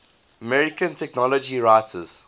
american technology writers